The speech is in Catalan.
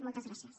moltes gràcies